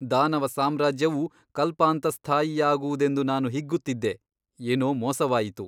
ದಾನವ ಸಾಮ್ರಾಜ್ಯವು ಕಲ್ಪಾಂತಸ್ಥಾಯಿಯಾಗುವುದೆಂದು ನಾನು ಹಿಗ್ಗುತ್ತಿದ್ದೆ ಏನೋ ಮೋಸವಾಯಿತು.